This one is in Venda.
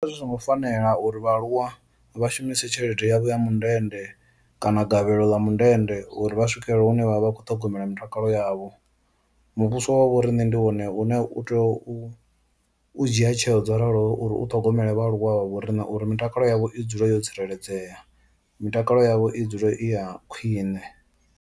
Zwi songo fanela uri vhaaluwa vha shumise tshelede yavho ya mundende kana magavhelo ḽa mundende uri vha swikelele hune vha vha vha kho ṱhogomela mutakalo yavho, muvhuso wa vho rine ndi wone u ne u tea u dzhia tsheo dzo raloho uri u ṱhogomele vha aluwa vha vho ri na uri mitakalo yavho i dzule yo tsireledzea, mitakalo yavho i dzule i ya khwine.